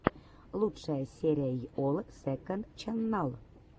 лучшая серия йолл сэконд ченнал